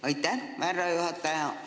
Aitäh, härra juhataja!